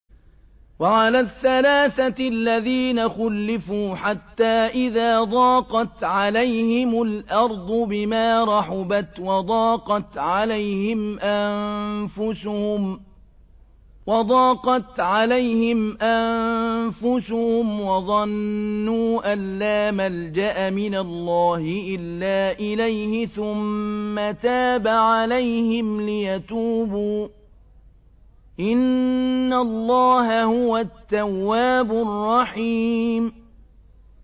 وَعَلَى الثَّلَاثَةِ الَّذِينَ خُلِّفُوا حَتَّىٰ إِذَا ضَاقَتْ عَلَيْهِمُ الْأَرْضُ بِمَا رَحُبَتْ وَضَاقَتْ عَلَيْهِمْ أَنفُسُهُمْ وَظَنُّوا أَن لَّا مَلْجَأَ مِنَ اللَّهِ إِلَّا إِلَيْهِ ثُمَّ تَابَ عَلَيْهِمْ لِيَتُوبُوا ۚ إِنَّ اللَّهَ هُوَ التَّوَّابُ الرَّحِيمُ